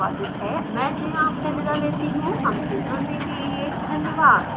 यह स्क्रिप्ट श्रुति आर्य द्वारा अनुवादित हैमैं जया आपसे विदा लेती हूँ धन्यवाद